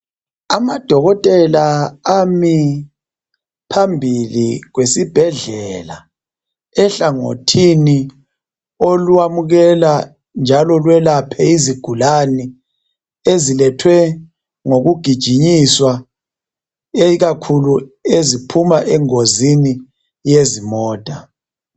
Amadokotela ami phambi kwesibhedlela ehlangothini lwamukela njalo lwelaphe izigulani ezilethwe ngokugijinyiswa, ikakhulu eziphuma engozini yemota.